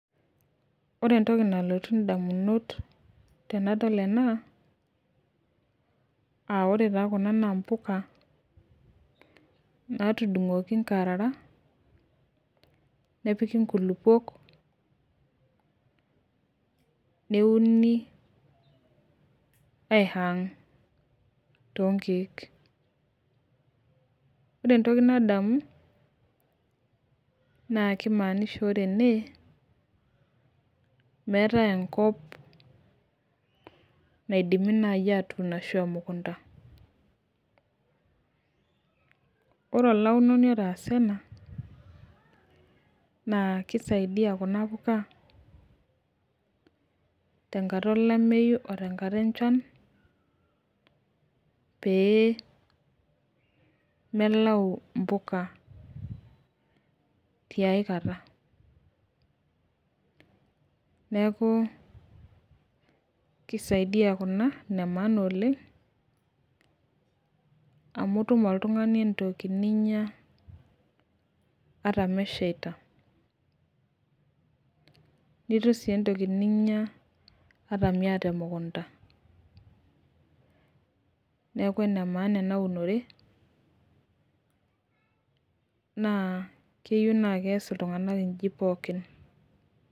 ore entoki nalotu idamunot tenadol ena aa ore taa kuna naa impuka naatudung'oki inkarara nepiki inkulukuok neuni aihang too inkeek, ore entoki nadamu naa kimanisha ore ene meetae enkop naidimi naaji atuun ashu emukunta, ore olaunoni otasa ena naa kisaidiaya kuna puka tenkata olameyu otenkata olari pee melau impuka aikata, neeku neeku kisaidiya kuna amu itum oltung'ani entoki ninya ata mesheita nitum sii entoki niya ata miyata emukunda, naa ene maana ena unore neeku keyieu naaji nees iltung'anak pooki.